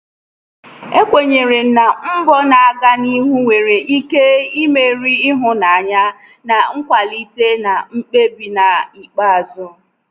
ekwenyere m na mbọ na-aga n'ihu nwere ike imeri ịhụnanya na nkwalite na mkpebi n'ikpeazụ.